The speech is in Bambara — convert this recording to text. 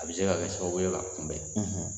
A bɛ se ka kɛ sababu ye k'a kunbɛn